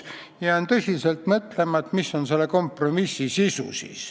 Jään tõsiselt mõtlema, et mis on siis selle kompromissi sisu.